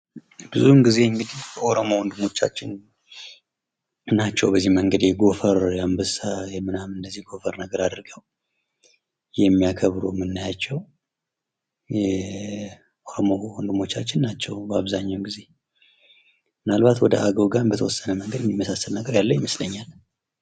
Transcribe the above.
ብዙ ጊዜ እንግዲህ የኦሮሞ ወንድሞቻችን ናቸው። የጎፈር፣ የአንበሳ ነገር አድርገው የሚያከብሩ የምናያቸው የኦሮሞ ወንድሞቻችን ናቸው በአብዛኛው ጊዜ። ምናልባት ወደ አገው ጋ በተወሰነ መንገድ የሚመሳሰል ይመስላል።